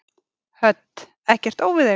Hödd: Ekkert óviðeigandi?